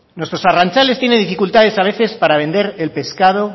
nuestros arrantzales tienen dificultades a veces para vender el pescado